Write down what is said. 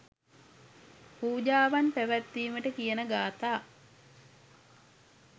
පූජාවන් පැවැත්වීමට කියන ගාථා